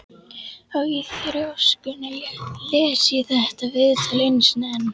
Og í þrjóskunni les ég þetta viðtal einu sinni enn.